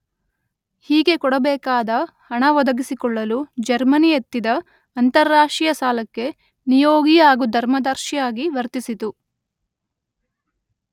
ಹೀಗೆ ಕೊಡಬೇಕಾದ ಹಣ ಒದಗಿಸಿಕೊಳ್ಳಲು ಜರ್ಮನಿ ಎತ್ತಿದ ಅಂತಾರಾಷ್ಟ್ರೀಯ ಸಾಲಕ್ಕೆ ನಿಯೋಗಿ ಹಾಗೂ ಧರ್ಮದರ್ಶಿಯಾಗಿ ವರ್ತಿಸಿತು.